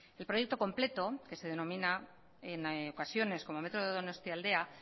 el proyecto completo que se denomina en ocasiones como metro de donostialdea